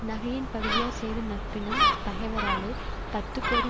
நகையின் பகுதியார் செய்த நட்பினும் பகைவராலே பத்துக்கோடி